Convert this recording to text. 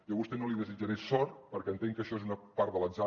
jo a vostè no li desitjaré sort perquè entenc que això és una part de l’atzar